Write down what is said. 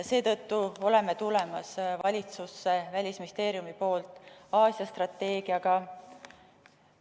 Seetõttu tuleme Välisministeeriumis välja Aasia strateegiaga.